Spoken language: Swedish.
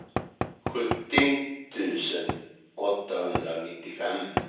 sjuttio tusen åttahundranittiofem